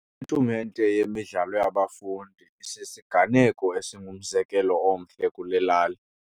Itumente yemidlalo yabafundi isisiganeko esingumzekelo omhle kule lali.